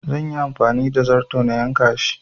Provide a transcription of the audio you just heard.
Zan yi amfani da zarto na yanka shi